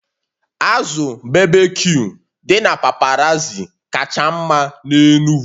Azụ berbecue dị na paparazzi kacha mma n'Enugwu